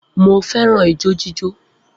Mo fẹ́ràn ijó jíjó